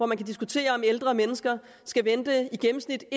man diskutere om ældre mennesker i gennemsnit